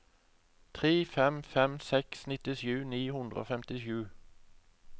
tre fem fem seks nittisju ni hundre og femtisju